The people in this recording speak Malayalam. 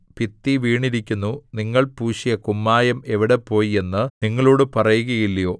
ഭിത്തി വീണിരിക്കുന്നു നിങ്ങൾ പൂശിയ കുമ്മായം എവിടെപ്പോയി എന്ന് നിങ്ങളോടു പറയുകയില്ലയോ